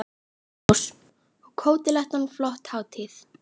Magnús: Og Kótelettan flott hátíð?